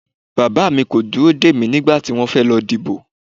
Bàbá mi kò dúró dè mí nígbà tí wọ́n fẹ́ lọ dìbò